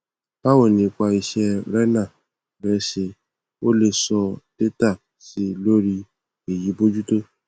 báwo ni ípa iṣẹ renal rẹ ṣé o lè so dátà sí i lórí èyí bójútó